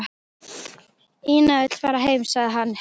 Ína vill fara heim, sagði hann.